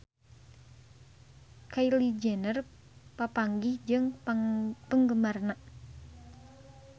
Kylie Jenner papanggih jeung penggemarna